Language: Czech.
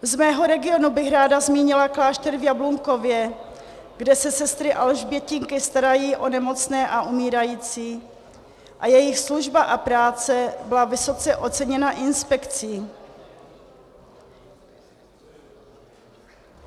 Z mého regionu bych ráda zmínila klášter v Jablunkově, kde se sestry alžbětinky starají o nemocné a umírající a jejich služba a práce byla vysoce oceněna inspekcí.